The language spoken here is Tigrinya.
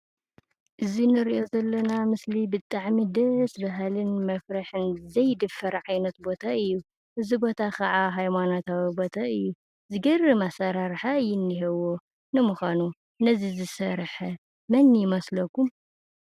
እዚ ንሪኦ ዘለና ምስሊ ብጣዕሚ ደስ በሃልን መፍርሒን ዘይድፈር ዓይነት ቦታ እዩ፡፡ እዚ ቦታ ኻዓ ሃይማኖታዊ ቦታ እዩ፡፡ ዝገርም ኣሰራርሓ እዩ እኒኦዎ፡፡ ንምዃኑ ነዚ ዝሰርሐ መን ይመስለኩም?